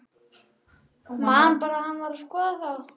Man bara að hann var að skoða þá.